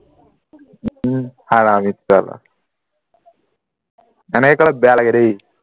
ওম হাৰামী চালা এনেকে কলে বেয়া লাগে দেই